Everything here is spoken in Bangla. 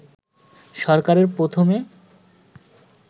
সরকারে প্রথমে